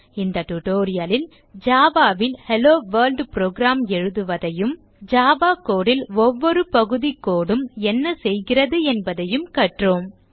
இந்த tutorial லில் java ல் ஹெல்லோவொர்ல்ட் program ஐ எழுதுவதையும் ஜாவா code ல் ஒவ்வொரு பகுதி code உம் என்ன செய்கிறது என்பதையும் கற்றோம்